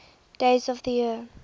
days of the year